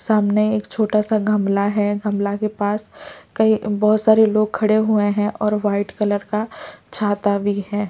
सामने एक छोटा सा गमला है गमला के पास कहीं बहुत सारे लोग खड़े हुए हैं और व्हाइट कलर का छाता भी है।